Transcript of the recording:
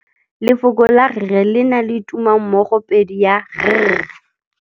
Lefoko la rre le na le tumammogôpedi ya, r.